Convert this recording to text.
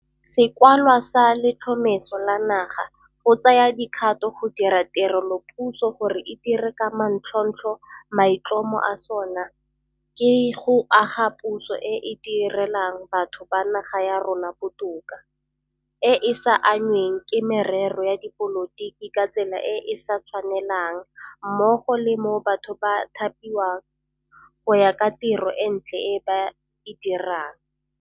Sekwalwa sa Letlhomeso la Naga go Tsaya Dikgato go dira Tirelopuso gore e Dire ka Manontlhotlho maitlhomo a sona ke go aga puso e e di relang batho ba naga ya rona botoka, e e sa anngweng ke merero ya dipolotiki ka tsela e e sa tshwanelang mmogo le mo batho ba thapiwang go ya ka tiro e ntle e ba e dirang.